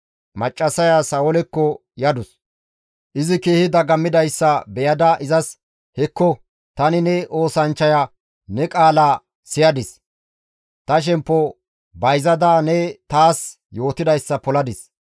Maccassaya Sa7oolekko yadus; izi keehi dagammidayssa beyada izas, «Hekko, tani ne oosanchchaya ne qaalaa siyadis; ta shemppo bayzada ne taas yootidayssa poladis.